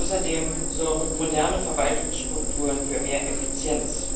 Außerdem sorgen moderne Verwaltungsstrukturen für mehr Effizienz.